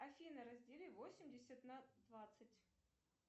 афина раздели восемьдесят на двадцать